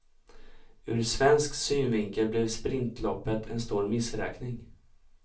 Ur svensk synvinkel blev sprintloppet en stor missräkning.